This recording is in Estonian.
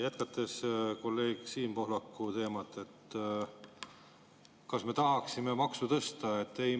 Jätkates kolleeg Siim Pohlaku teemat: kas me oleksime tahtnud maksu tõsta?